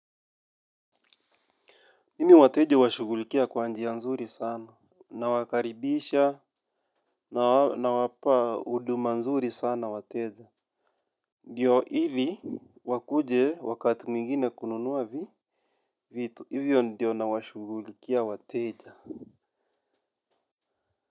Mimi wateja huwashugulikia kwa njia nzuri sana. Na wakaribisha na wapa huduma nzuri sana wateja. Ndiyo hivi wakuje wakati mwingine kununuwa vitu. Hivyo ndio na washughulikia wateja.